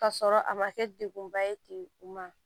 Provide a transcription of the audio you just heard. Ka sɔrɔ a ma kɛ degkunba ye ten ma